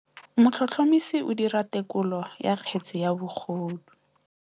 Motlhotlhomisi o dira têkolô ya kgetse ya bogodu.